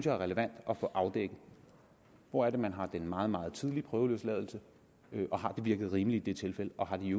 er relevant at få afdækket hvor er det man har den meget meget tidlige prøveløsladelse har det virket rimeligt i de tilfælde og har det